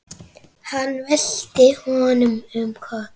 Hann velti honum um koll.